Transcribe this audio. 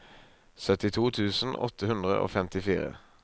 syttito tusen åtte hundre og femtifire